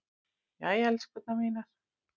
Jæja, elskurnar mínar.